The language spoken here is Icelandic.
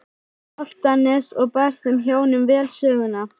Álftanes og bar þeim hjónum vel söguna.